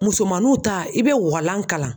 Musomaninw ta i be walan karan